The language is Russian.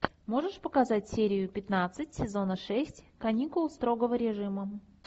можешь показать серию пятнадцать сезона шесть каникулы строгого режима